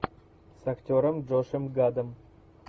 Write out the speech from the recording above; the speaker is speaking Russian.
с актером джошем гадом